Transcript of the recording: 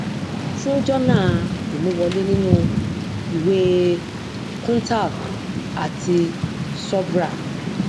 fún jọnà imú wọlé nínú ìwé e kuntal àti subhra